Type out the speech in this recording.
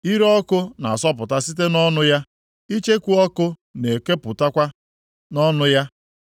Ire ọkụ na-asọpụta site nʼọnụ ya, icheku ọkụ na-ekepụtakwa nʼọnụ ya.